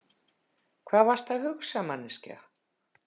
Hvað varstu að hugsa, manneskja?